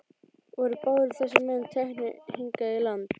Voru báðir þessir menn teknir hingað í land.